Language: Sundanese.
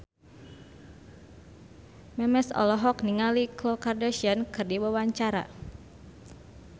Memes olohok ningali Khloe Kardashian keur diwawancara